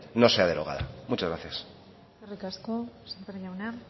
no sea derogada muchas gracias eskerrik asko sémper jauna